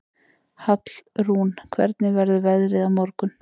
Hallrún, hvernig verður veðrið á morgun?